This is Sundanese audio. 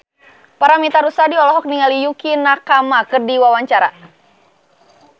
Paramitha Rusady olohok ningali Yukie Nakama keur diwawancara